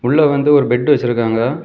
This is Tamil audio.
உள்ள வந்து ஒரு பெட் வெச்சிருக்காங்க.